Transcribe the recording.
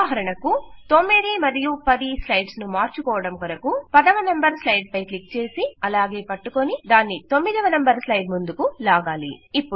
ఉదాహరణకు 9 మరియు 10 స్లైడ్స్ ను మార్చుకోవడం కొరకు 10 వ నంబర్ స్లైడ్ పై క్లిక్ చేసి అలాగే పట్టుకుని దాన్ని9 వ నంబర్ స్లైడ్ ముందుకు లాగాలి